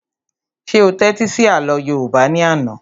Ṣé o tẹ́tí sí àlọ́ yóòbá ní àná?